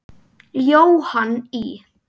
Jóhann í